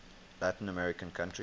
latin american country